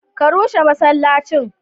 Ka rushe masallacin!